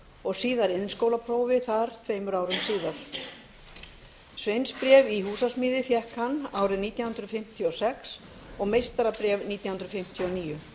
og síðar iðnskólaprófi þar tveimur árum síðar sveinsbréf í húsasmíði fékk hann nítján hundruð fimmtíu og sex og meistarabréf nítján hundruð fimmtíu og níu